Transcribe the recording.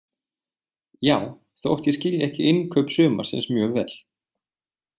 Já, þótt ég skilji ekki innkaup sumarsins mjög vel.